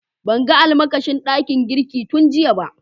Ban gan almakashi dakin girki tun giya ba.